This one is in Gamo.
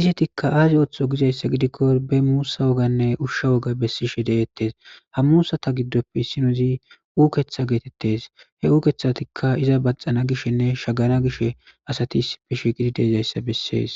izetika azi oothizo gizaysa gidikon be muusa woganne usha woga besishe de'etes, ha musata giddoppe issinoz uketha getetes, he ukethazika asay iza bathana gishenne shagana gishe dizysa beses.